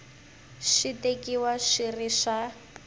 swi tekiwa swi ri swa